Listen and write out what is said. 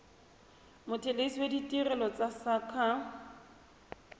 mothelesi wa ditirelo tsa saqa